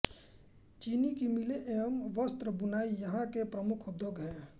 चीनी की मिलें एवं वस्त्र बुनाई यहाँ के प्रमुख उद्योग हैं